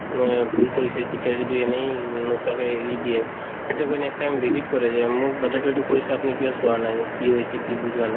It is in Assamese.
মানে ভূল কৰিছে teacher য়ে যদি এনেই নোচোৱাকে এৰি দিয়ে তেতিয়া গৈ next time visit কৰে যে মোৰ batches তোয়ে এইটো কৰিছে আপুনি কিয় চোৱা নাই কি হৈছে কি বুজোৱা নাই